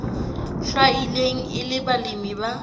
hlwailweng e le balemi ba